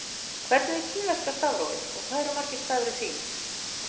Hvernig er kínverska stafrófið og hvað eru margir stafir í því?